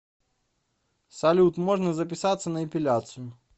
салют можно записаться на эпиляцию